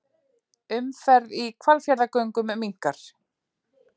Umferð í Hvalfjarðargöngum minnkar